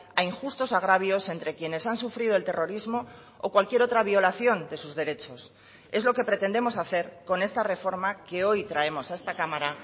a injustos agravios entre quienes han sufrido el terrorismo o cualquier otra violación de sus derechos es lo que pretendemos hacer con esta reforma que hoy traemos a esta cámara